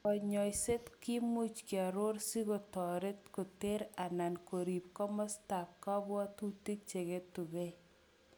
Konyoiset kimuch kioror sikotoret koter anan korib kamasetab kobwotutik cheketukei.